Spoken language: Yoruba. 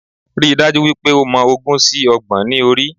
Ríi dájú wípé o mọ ogún sí Ọgbọ̀n ní orí